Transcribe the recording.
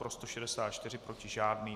Pro 164, proti žádný.